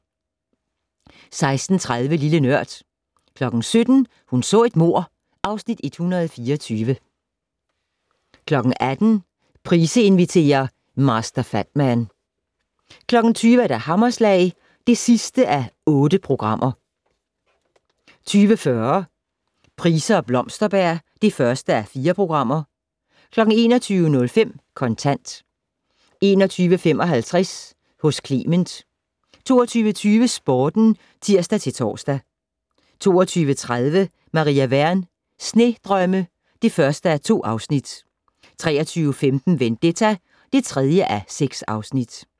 16:30: Lille Nørd 17:00: Hun så et mord (Afs. 124) 18:00: Price inviterer - Master Fatman 20:00: Hammerslag (8:8) 20:40: Price og Blomsterberg (1:4) 21:05: Kontant 21:55: Hos Clement 22:20: Sporten (tir-tor) 22:30: Maria Wern: Snedrømme (1:2) 23:15: Vendetta (3:6)